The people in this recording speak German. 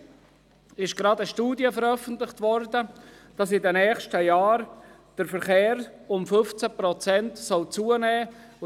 Gestern wurde eine Studie veröffentlicht, die besagt, dass der Verkehr in den nächsten Jahren um 15 Prozent zunehmen solle.